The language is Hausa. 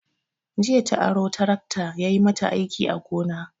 Jiya ta aro tarakta yayi mata aiki a gona.